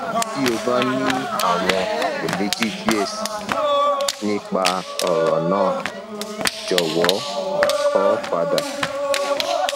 ti o ba ni awọn iyemeji diẹ sii nipa ọran naa jọwọ kọ pada